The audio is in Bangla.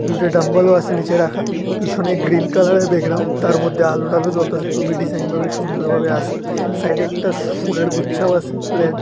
দুইটা ডাম্বেল ও আছে নিচে রাখা পিছনে গ্রীন কালারের ব্যাকগ্রাউন্ড তার মধ্যে আলো ঠালো জ্বলতাছে খুবই ডিজাইনভাবে সুন্দরভাবে আছে সাইডে একটা ফুলের গুচ্ছাও আছে রেড ।